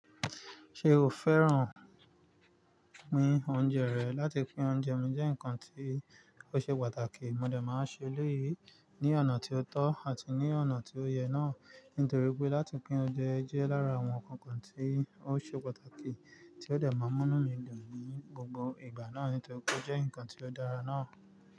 Ṣe o fẹ́ràn pín oúnjẹ rẹ? Láti pín oúnjẹ mi jẹ́ nǹkan tí ó ṣe pàtàkì. Mo dẹ̀ máa ń ṣe elẹ́yìi ní ọ̀nà tí ó tọ́ àti ní ọ̀nà tí ó yẹ náà. Nítorí pé láti pín oúnjẹ jẹ́ lára àwọn nǹkan kan tí ó ṣe pàtàkì tí ó dẹ̀ máa ń mú'nú mi dùn ní gbogbo ìgbà náà. Nítorí pé ó jẹ́ nǹkan tí ó dára náà.